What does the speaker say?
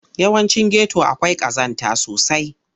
Yawancin geto akwai ƙazanta sosai.